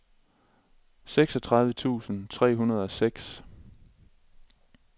seksogtredive tusind tre hundrede og seks